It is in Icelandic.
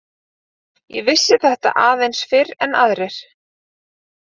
Ég vissi þetta aðeins fyrr en aðrir.